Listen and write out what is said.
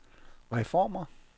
reformer